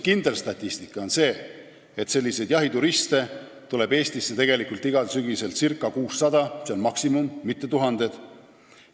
Kindel statistika on selline, et jahituriste tuleb Eestisse tegelikult igal sügisel circa 600 – see on maksimum –, mitte tuhandeid.